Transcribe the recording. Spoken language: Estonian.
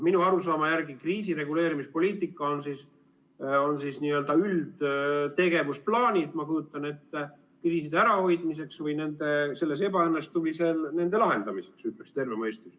Minu arusaama järgi kriisireguleerimispoliitika on n‑ö üldtegevusplaanid, ma kujutan ette, kriiside ärahoidmiseks või selles ebaõnnestumise puhul nende lahendamiseks, ütleks terve mõistus.